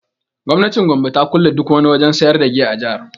Gwamnatin Gombe ta kulle duk wani wajen sayar da giya a jihar